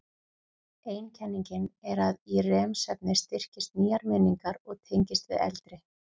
Ein kenningin er að í REM-svefni styrkist nýjar minningar og tengist við eldri.